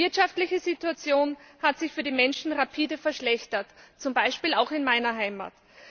Die wirtschaftliche Situation hat sich für die Menschen rapide verschlechtert, zum Beispiel auch in meiner Heimat.